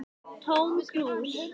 Tóm krús